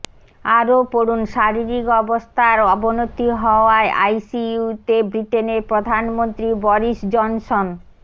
আরও পড়ুন শারীরিক অবস্থার অবনতি হওয়ায় আইসিইউতে ব্রিটেনের প্রধানমন্ত্রী বরিস জনসন